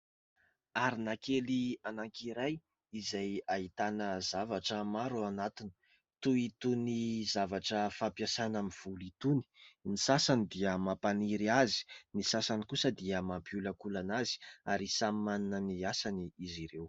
Arona kely anankiray izay ahitana zavatra maro ao anatiny toy itony zavatra fampiasana amin'ny volo itony. Ny sasany dia mampaniry azy, ny sasany kosa dia mampiolakolana azy ary samy manana ny asany izy ireo.